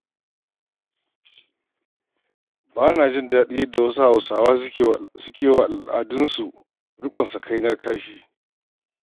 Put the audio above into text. Ba na jin daɗin yadda wasu Hausawa suke yi wa al'adunsu riƙon sakainar kashi.